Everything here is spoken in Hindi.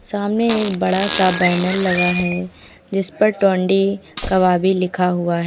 सामने एक बड़ा सा बैनर लगा है जिस पर टुंडी कबाबी लिखा हुआ है।